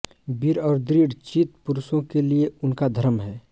वीर और दृढ चित पुरुषों के लिये उनका धर्म है